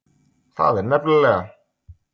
Það er nefnilega.